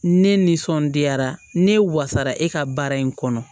Ne nisɔndiyara ne wasara e ka baara in kɔnɔ